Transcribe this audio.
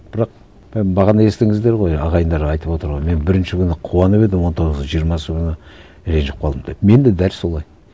бірақ бағана естідіңіздер ғой ағайындар айтып отыр ғой мен бірінші күні қуанып едім он тоғызы жиырмасы күні ренжіп қалдым деп мен де дәл солай